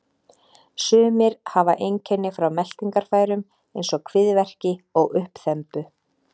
Sumir hafa einkenni frá meltingarfærum eins og kviðverki og uppþembu.